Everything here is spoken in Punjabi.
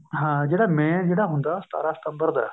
ਹਾਂ ਜਿਹੜਾ main ਜਿਹੜਾ ਹੁੰਦਾ ਉਹ ਸਤਾਰਾਂ ਸਤੰਬਰ ਦਾ